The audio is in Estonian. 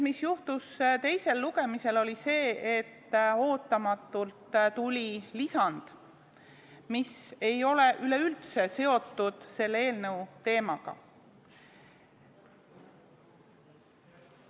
Teisel lugemisel juhtus see, et ootamatult tuli lisand, mis ei ole üleüldse seotud selle eelnõu teemaga.